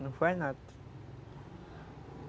Não faz nada.